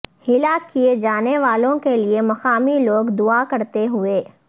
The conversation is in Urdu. ہلاک کیے جانے والوں کے لیے مقامی لوگ دعا کرتے ہوئے